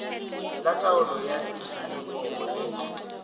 la taolo ya tikologo le